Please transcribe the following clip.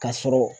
Ka sɔrɔ